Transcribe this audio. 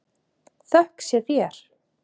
Þökk sé þér.